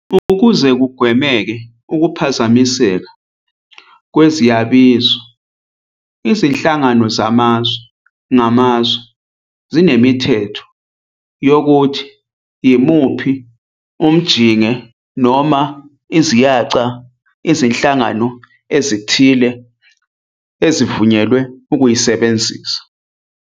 Ukuze kugwemeke ukuphazamiseka kweziyabizo, izinhlangano zamazwe ngamazwe zinemithetho yokuthi imuphi umjinge noma "iziyaca" izinhlangano ezithile zivunyelwe ukuyisebenzisa.